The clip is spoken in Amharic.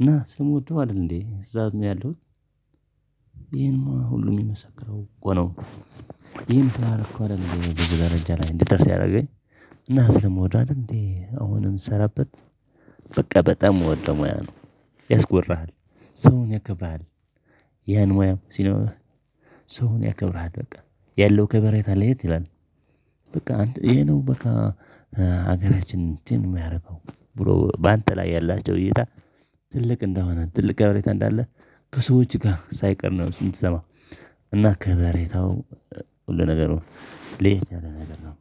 እና ስለምወደው አይደል እንዴ እዛው ያለሁት ይሄንማ ሁሉ የሚመሰክረው እኮ ነው። ይሄን ስላረኩ አይደል እኔ እዚህ ደረጃ ላይ እንድደርስ ያረገኝ እና ስለመወደው አደል እንዴ አሁን ምሰራበት። በቃ በጣም ምወደው ሙያ ነው። ያስኮርሃል ሰውን ያከብርሃል። ያን ሙያም ሲኖር ሰውን ያከብርሃል በቃ ያለው ከበሬታ ለየት ይላል። በቃ ይሄ ነው በቃ ሀገራችንን የሚያደርገው ብሎ በአንተ ላይ ያላቸው እይታ ትልቅ እንደሆነ ትልቅ ከቤሬታ እንዳለ ከሰዎች ጋር ሳይቀር ነው የምትሰማው። እና ከበሬታው ሁሉ ነገር ነው። ለየት ያለ ነገር ነው።